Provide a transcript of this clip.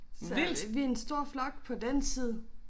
Så vi en stor flok på den side